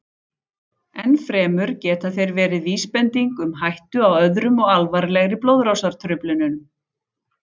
Enn fremur geta þeir verið vísbending um hættu á öðrum og alvarlegri blóðrásartruflunum.